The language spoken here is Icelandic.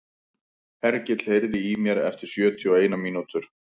Hergill, heyrðu í mér eftir sjötíu og eina mínútur.